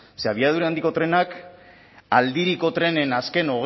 ze abiadura handiko trenak aldiriko trenen azken